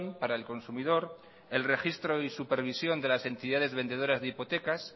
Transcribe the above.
para el consumidor el registro y supervisión de las entidades vendedoras de hipotecas